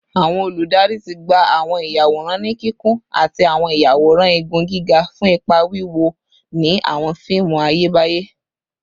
Awọn oludari ti gba awọn iyaworan ni kikun ati awọn iyaworan igun giga fun ipa wiwo ni awọn fiimu Ayebaye